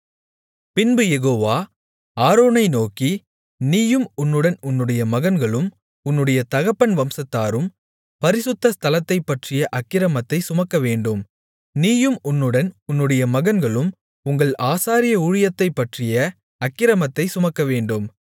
பின்பு யெகோவா ஆரோனை நோக்கி நீயும் உன்னுடன் உன்னுடைய மகன்களும் உன்னுடைய தகப்பன் வம்சத்தாரும் பரிசுத்த ஸ்தலத்தைப்பற்றிய அக்கிரமத்தைச் சுமக்கவேண்டும் நீயும் உன்னுடன் உன்னுடைய மகன்களும் உங்கள் ஆசாரிய ஊழியத்தைப்பற்றிய அக்கிரமத்தைச் சுமக்க வேண்டும்